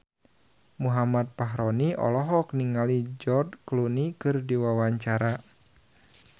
Muhammad Fachroni olohok ningali George Clooney keur diwawancara